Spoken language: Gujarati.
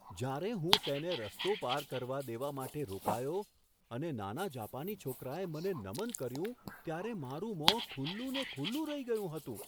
જ્યારે હું તેને રસ્તો પાર કરવા દેવા માટે રોકાયો અને નાના જાપાની છોકરાએ મને નમન કર્યું ત્યારે મારે મોં ખુલ્લુને ખુલ્લુ રહી ગયું હતું.